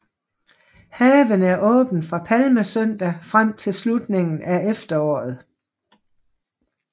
Haven er åben fra palmesøndag frem til slutningen af efteråret